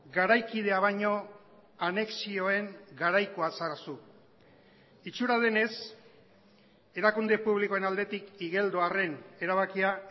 garaikidea baino anexioen garaikoa zara zu itxura denez erakunde publikoen aldetik igeldoarren erabakia